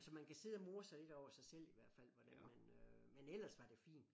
Og så man kan sidde og more lidt over sig selv i hvert fald hvordan man øh men ellers var det fint